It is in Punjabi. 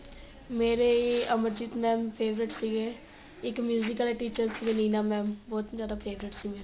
ਮੇਰੇ ਅਮਰਜੀਤ mam favorite ਸੀਗੇ ਇੱਕ ਵਾਲੇ teacher ਸੀਗੇ ਨੀਨਾ mam ਬਹੁਤ ਹੀ ਜਿਆਦਾ favorite ਸੀਗੇ